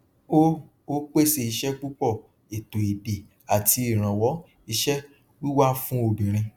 ó ó pèsè iṣẹ púpọ ètò èdè àti ìrànwọ iṣẹ wíwá fún obìnrin